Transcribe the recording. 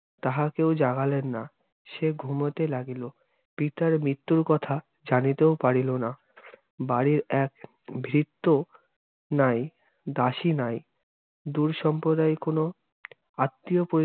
তাহা কেও জাগালেন না, সে ঘুমোতে লাগিলো। পিতার মৃত্যুর কথা জানিতেও পারিলোনা। বাড়ির এক ভৃত্য নাই, দাসি নাই, দূর সাম্প্রদায়িক কোনো আত্নীয় পোর্যন্ত~